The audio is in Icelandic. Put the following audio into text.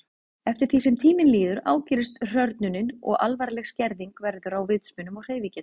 Eftir því sem tíminn líður ágerist hrörnunin og alvarleg skerðing verður á vitsmunum og hreyfigetu.